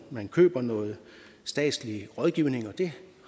man køber noget statslig rådgivning vi